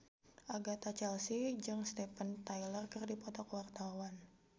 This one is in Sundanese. Agatha Chelsea jeung Steven Tyler keur dipoto ku wartawan